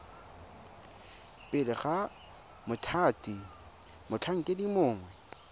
pele ga mothati motlhankedi mongwe